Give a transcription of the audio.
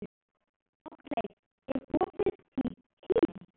Oddleif, er opið í HÍ?